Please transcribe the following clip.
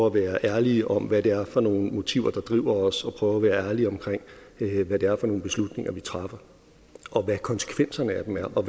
at være ærlige om hvad det er for nogle motiver der driver os og prøve at være ærlige om hvad det er for nogle beslutninger vi træffer og hvad konsekvenserne af dem er og